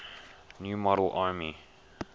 new model army